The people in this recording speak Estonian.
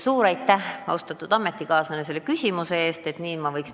Suur aitäh, austatud ametikaaslane, selle küsimuse eest!